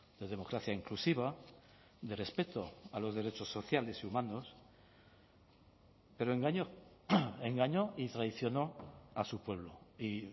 de democracia inclusiva de respeto a los derechos sociales y humanos pero engañó engañó y traicionó a su pueblo y